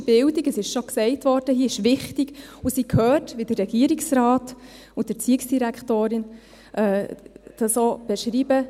Politische Bildung, es wurde hier bereits gesagt, ist wichtig, und sie gehört ganz klar auch zum Lehrauftrag, wie der Regierungsrat und die Erziehungsdirektorin dies auch beschreiben.